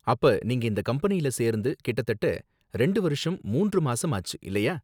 அப்ப, நீங்க இந்த கம்பெனியில சேர்ந்து கிட்டத்தட்ட ரெண்டு வருஷம் மூன்று மாசம் ஆச்சு, இல்லயா